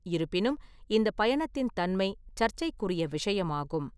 இருப்பினும், இந்த பயணத்தின் தன்மை சர்ச்சைக்குரிய விஷயமாகும்.